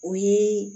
O ye